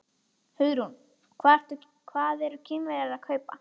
Hugrún: Og hvað eru Kínverjarnir að kaupa?